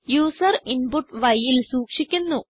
user input y ൽ സൂക്ഷിക്കുന്നു